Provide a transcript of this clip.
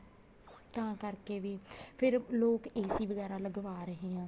ਤਾਂ ਕਰਕੇ ਵੀ ਫ਼ੇਰ ਲੋਕ AC ਵਗੈਰਾ ਲਵਾ ਰਹੇ ਆ